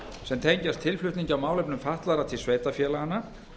sem tengjast tilflutningi á málefnum fatlaðra til sveitarfélaganna